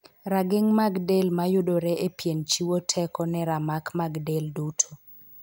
Rageng' mag delo mayudore e pien chiwo teko ne ramak mag del duto.